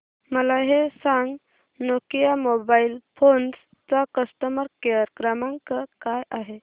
मला हे सांग नोकिया मोबाईल फोन्स चा कस्टमर केअर क्रमांक काय आहे